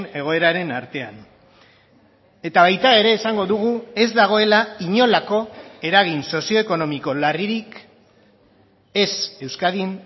egoeraren artean eta baita ere esango dugu ez dagoela inolako eragin sozioekonomiko larririk ez euskadin